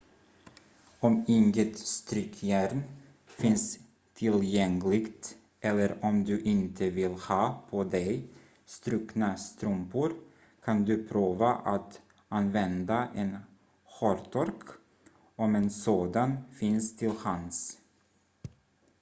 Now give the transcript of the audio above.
om inget strykjärn finns tillgängligt eller om du inte vill ha på dig strukna strumpor kan du prova att använda en hårtork om en sådan finns till hands